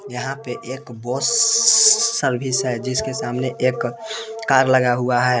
यहां पे एक बस सर्विस है जिसके सामने एक कार लगा हुआ है।